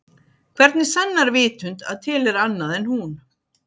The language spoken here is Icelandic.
Hvernig sannar vitund að til er annað en hún?